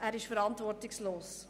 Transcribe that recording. der Antrag ist verantwortungslos.